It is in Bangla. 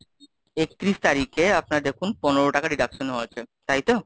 একত্রিশ তারিখে আপনার দেখুন পনেরো টাকার deduction হয়েছে, তাইতো?